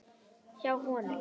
Hjá honum.